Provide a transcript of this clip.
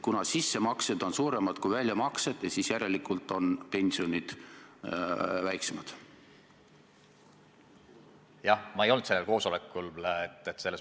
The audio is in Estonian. Jah, ma ei olnud sellel koosolekul.